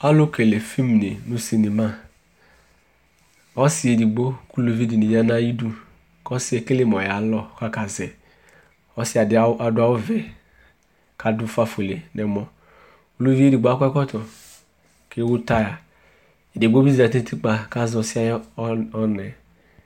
Alʋkele film dɩ nʋ sinema Ɔsɩ edigbo kʋ uluvi dɩnɩ ya nʋ ayidu kʋ ɔsɩ yɛ ekele mʋ ɔyalɔ kʋ akazɛ Ɔsɩ dɩ adʋ awʋvɛ kʋ adʋ ʋfafuele nʋ ɛmɔ Uluvi edigbo akɔ ɛkɔtɔ kʋ ewu taya Edigbo bɩ zati nʋ utikpa kʋ azɛ ɔsɩ yɛ ayʋ ɔ ɔna yɛ